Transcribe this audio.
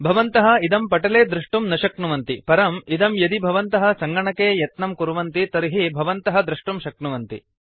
भवन्तः इदं पटले दृष्टुं न शक्नुवन्ति परम् इदं यदि भवन्तः सङ्गणके यत्नं कुर्वन्ति तर्हि भवन्तः दृष्टुं शक्नुवन्ति